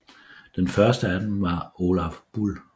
Den første af dem var Olaf Bull